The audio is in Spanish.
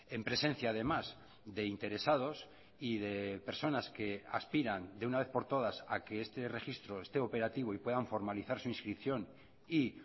en presencia además de interesados y de personas que aspiran de una vez por todas a que este registro esté operativo y puedan formalizar su inscripción y